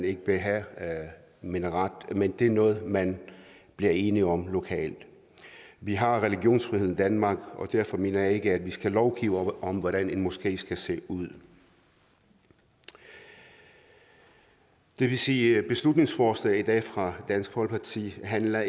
ikke vil have en minaret men det er noget man bliver enige om lokalt vi har religionsfrihed i danmark og derfor mener jeg ikke at vi skal lovgive om hvordan en moské skal se ud det vil sige at beslutningsforslaget i dag fra dansk folkeparti ikke handler